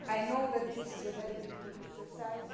I know that this is a very difficult exercise.